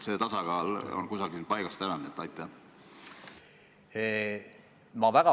See tasakaal on paigast ära.